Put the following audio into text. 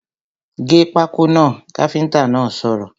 ‘Gé pákó náà’ káfíntà náà sọ̀rọ̀